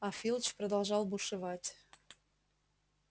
а филч продолжал бушевать